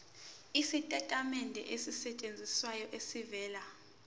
isitatimende esisayinelwe esivela